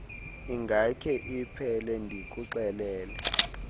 ingakhe iphele ndikuxelele